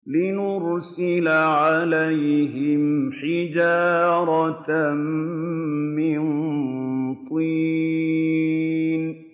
لِنُرْسِلَ عَلَيْهِمْ حِجَارَةً مِّن طِينٍ